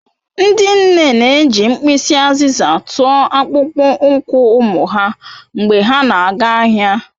Ndị nne na-eji mkpịsị azịza tụọ akpụkpọ ụkwụ ụmụ ha mgbe ha na-aga ahịa.